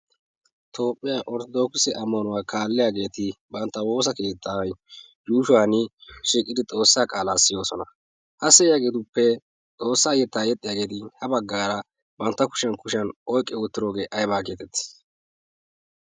toophphiyaa ortodoksi ammanuwaa kaalliyaageeti bantta woosa keettaa yuushuwan shiiqidi xoossaa qaalaa siyoosona. ha se iyaageetuppe xoossaa yettaa yexxhiyaageeti? ha baggaara bantta kushiyan kushiyan oiqqe oottiroogee aibaa geeteti?